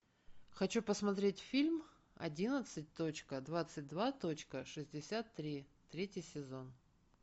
хочу посмотреть фильм одиннадцать точка двадцать два точка шестьдесят три третий сезон